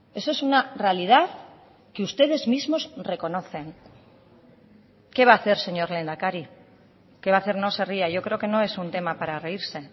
eso es una realidad que ustedes mismos reconocen qué va a hacer señor lehendakari qué va a hacer no se ría yo creo que no es un tema para reírse